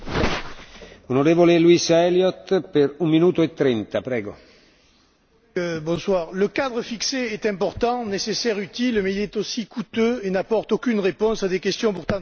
Monsieur le Président, le cadre fixé est important, nécessaire et utile mais il est aussi coûteux et n'apporte aucune réponse à des questions pourtant très graves.